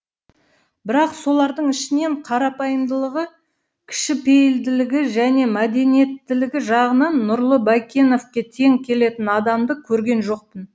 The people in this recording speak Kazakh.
бірақ солардың ішінен қарапайымдылығы кішіпейілділігі және мәдениеттілігі жағынан нұрлы бәйкеновке тең келетін адамды көрген жоқпын